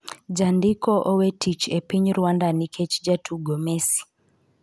Jandiko owe tich e piny Rwanda nikech jatugo Messi